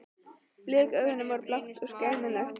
Blik augnanna var blátt og skelmislegt.